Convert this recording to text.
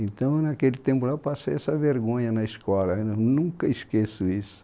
Então, naquele tempo, eu passei essa vergonha na escola, eu nunca esqueço isso.